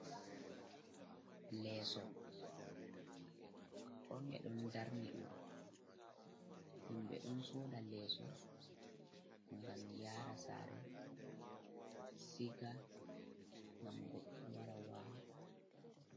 Leeso, ɓe ɗon darni ɗum. Himɓe ɗon soda leeso ngam yara sare, siga, ngam goɗɗo wara wala.